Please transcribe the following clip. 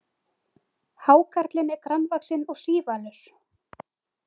Hákarlinn er grannvaxinn og sívalur.